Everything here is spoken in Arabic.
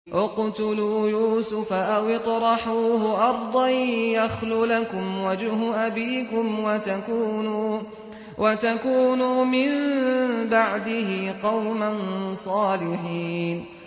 اقْتُلُوا يُوسُفَ أَوِ اطْرَحُوهُ أَرْضًا يَخْلُ لَكُمْ وَجْهُ أَبِيكُمْ وَتَكُونُوا مِن بَعْدِهِ قَوْمًا صَالِحِينَ